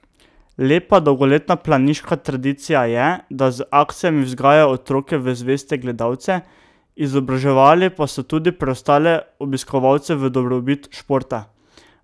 Lepa dolgoletna planiška tradicija je, da z akcijami vzgajajo otroke v zveste gledalce, izobraževali pa so tudi preostale obiskovalce v dobrobit športa.